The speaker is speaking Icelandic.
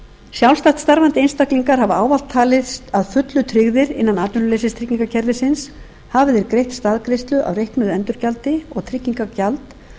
sjálfstætt starfandi einstaklingar hafa ávallt talist að fullu tryggðir innan atvinnuleysistryggingakerfisins hafi þeir greitt staðgreiðslu af reiknuðu endurgjaldi og tryggingagjald